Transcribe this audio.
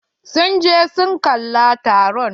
Sun je su kalla taron.